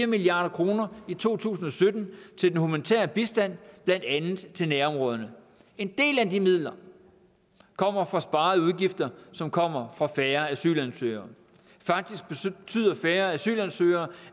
milliard kroner i to tusind og sytten til den humanitære bistand blandt andet til nærområderne en del af de midler kommer fra sparede udgifter som kommer fra færre asylansøgere faktisk betyder færre asylansøgere